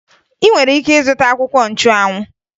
Ị nwere ike ịzụta akwụkwọ nchụanwụ